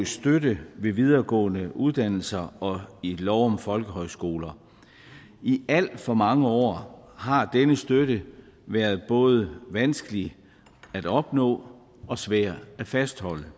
støtte ved videregående uddannelser og i lov om folkehøjskoler i alt for mange år har denne støtte været både vanskelig at opnå og svær at fastholde